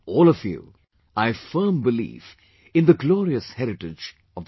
all of you...I have firm belief in the glorious heritage of the country